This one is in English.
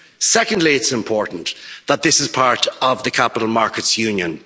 Secondly, it is important that this is part of the capital markets union.